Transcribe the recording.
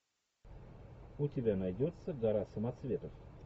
у тебя найдется гора самоцветов